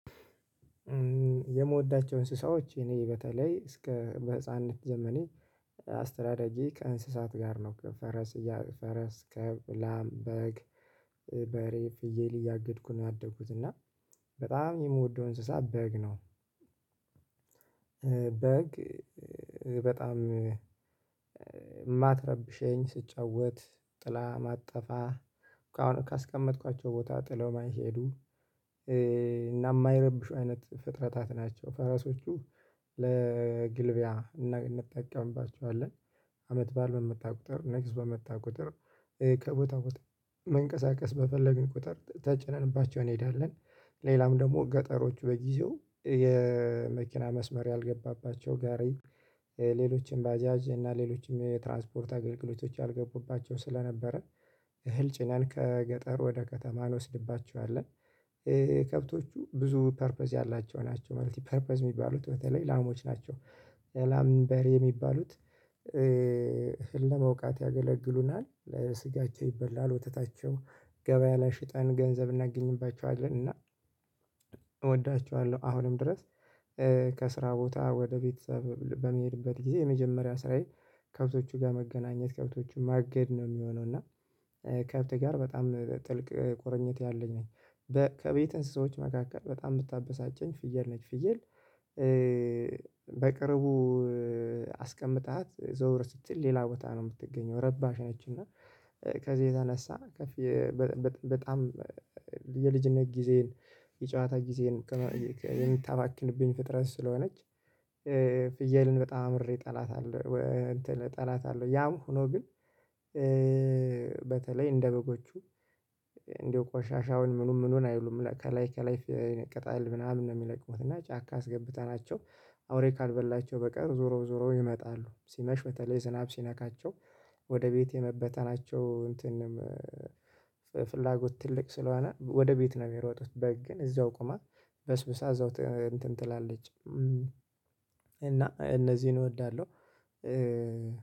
የምወዳቸው እንስሳዎች እኔ በተለይ እስከ በህፃንነት ጀምሬ አስተዳዳጊ ከእንስሳት ጋር ነው ከፈረስ ፈረስ ከብላም በግ በሬ ፍየል እያገድኩ ነው ያደግኩት እና በጣም የምወደው እንስሳ በግ ነው። በግ በጣም የማትረብሸኝ ስጫወት ጥላ ማጠፋ ካስቀመጥኳቸው ቦታ ጥለው ማይሄዱ እና የማይረብሹ አይነት ፍጥረታት ናቸው። ፈረሶቹ ለግልቢያ እንጠቀምባቸዋለን። አመት በዓል በመጣ ቁጥር ነገስ በምታውቁትር ከቦታ ቦታ መንቀሳቀስ በፈለግን ቁጥር ተጨነንባቸው እንሄዳለን ሌላም ደግሞ ገጠሮች በጊዜው የመኪና መስመር ያልገባባቸው ጋሪ ሌሎችም ባጃጅ እና ሌሎችም የትራንስፖርት አገልግሎቶች አልገቡባቸው ስለነበረ እህል ጭናን ከገጠር ወደ ከተማ እንወስድባቸዋለን። ከብቶቹ ብዙ ፐርፐዝ ያላቸው ናቸው መልቲ ፐርፐዝ የሚባሉት በተለይ ላሞች ናቸው። ላም በሬ የሚባሉት አህል ለመውቃት ያገለግሉናል ለስጋቸው ይበላል ወተታቸው ገበያ ላይ ሽጠን ገንዘብ እናገኝባቸዋለን እና እወዳቸዋለሁ። አሁንም ድረስ ከስራ ቦታ ወደ ቤተሰብ በመሄድበት ጊዜ የመጀመሪያ ስራዬ ከብቶቹ ጋር መገናኘት ከብቶቹን ማገድ ነው የሚሆነው እና። ከብት ጋር በጣም ጥልቅ ቆርኝት ያለኝ ነኝ። ከቤትህ አንሣዎች መካከል በጣም ብታበሳጨኝ ፍየል ነች ፍየል በቅርቡ አስቀምጣት ዘውር ስትል ሌላ ቦታ ነው የምትገኘው ረባሽ ነች። እና ከዚህ የተነሳ በጣም የልጅነት ጊዜን የጨዋታ ጊዜን የምታባክንብኝ ፍጥረት ስለሆነች ፍየልን በጣም አምሬ ጠላት። አለው ጠላት አለው ያም ሆኖ ግን በተለይ እንደ በጎቹ እንደ ቆሻሻውን ምኑን ምኑን አይሉም ከላይ ከላይ ይነቀጣል ምናምን ነው የሚለቅሙት እና ጫካ አስገብተናቸው አውሬ ካልበላቸው በቀር ዞሮ ዞሮ ይመጣሉ ሲመሽ በተለይ ዝናብ ሲነካቸው ወደ ቤቴ መበተናቸው እንትንም ፍላጎት ትልቅ ስለሆነ ወደ ቤት ነው የሚሮጡት። በግ ግን እዛው ቆማ በስብሳ እዛው እንትን ትላለች። እና እነዚህን እወዳለሁ።